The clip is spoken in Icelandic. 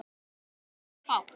Það var fátt.